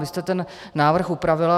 Vy jste ten návrh upravila.